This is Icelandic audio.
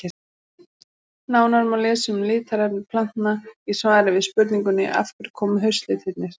Nánar má lesa um litarefni plantna í svari við spurningunni Af hverju koma haustlitirnir?